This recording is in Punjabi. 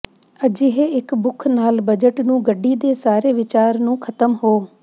ਅਜਿਹੇ ਇੱਕ ਭੁੱਖ ਨਾਲ ਬਜਟ ਨੂੰ ਗੱਡੀ ਦੇ ਸਾਰੇ ਵਿਚਾਰ ਨੂੰ ਖਤਮ ਹੋ